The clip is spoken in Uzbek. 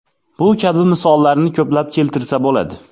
Bu kabi misollarni ko‘plab keltirsa bo‘ladi.